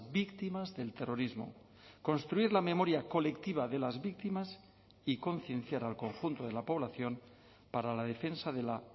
víctimas del terrorismo construir la memoria colectiva de las víctimas y concienciar al conjunto de la población para la defensa de la